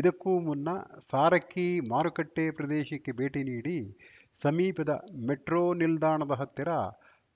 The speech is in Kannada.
ಇದಕ್ಕೂ ಮುನ್ನ ಸಾರಕ್ಕಿ ಮಾರುಕಟ್ಟೆಪ್ರದೇಶಕ್ಕೆ ಭೇಟಿ ನೀಡಿ ಸಮೀಪದ ಮೆಟ್ರೋ ನಿಲ್ದಾಣದ ಹತ್ತಿರ